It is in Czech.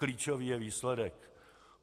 Klíčový je výsledek.